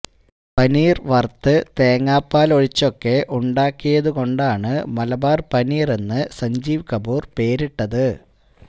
പനീര് വറുത്ത് തേങ്ങാപ്പാല് ഒഴിച്ചൊക്കെ ഉണ്ടാക്കിയതുകൊണ്ടാണ് മലബാര് പനീറെന്ന് സഞ്ജീവ് കപൂര് പേരിട്ടത്